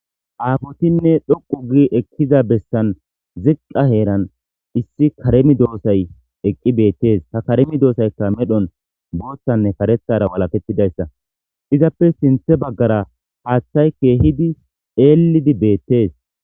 Affotinne dhuqu gidda bessan ziqa heeran issi kare medosay eqqi bettes.ha kare medossaykka medhon bothanne karethara walaketidayssa izappe sinthe bagara haththay kehidi ellidi bettes.